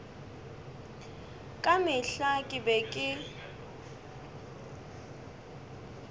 ka mehla ke be ke